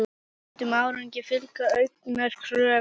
Bættum árangri fylgja auknar kröfur.